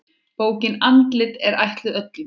Bókin Andlit er ætluð öllum.